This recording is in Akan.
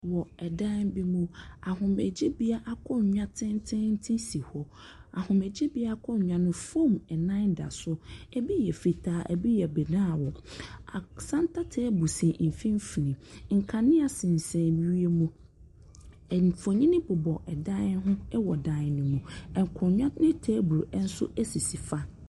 Wɔ dan bi mu, ahomegyebea akonnwa tententen si hɔ. Ahomegyebea akonnwa no mu, foam nan da so. Ebi yɛ fitaa, ebi yɛ brown. Cenre table si mfimfin. Nkanea sensan wiem.